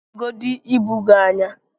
legodu ibu gị anyị!